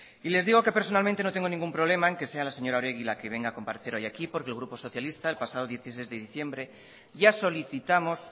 y les digo que personalmente no tengo ningún problema en que sea la señora oregui la que venga a comparecer hoy aquí porque el grupo socialista el pasado dieciséis de diciembre ya solicitamos